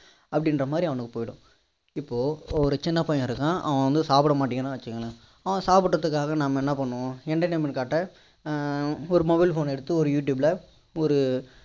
அப்படின்ற மாதிரி அவனுக்கு போயிடும் இப்போ ஒரு சின்ன பையன் இருக்கான் அவன் வந்து சாப்பிட மாடேங்கிறான்னு வச்சிக்கோங்களேன் வன் சாப்பிடுறதுக்காக நம்ம என்ன பண்ணுவோம் entertainment ஆஹ் காட்ட ஒரு mobile phone ன எடுத்து ஒரு youtube ல ஒரு